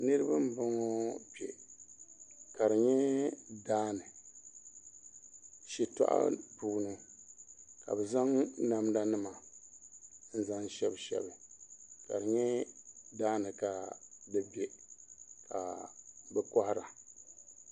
Niraba n bɔŋɔ kpɛ ka di nyɛ daani shitɔɣu puuni ka bi zaŋ namda nima n zaŋ shɛbi shɛbi ka di nyɛ daani ka di bɛ ka bi kohara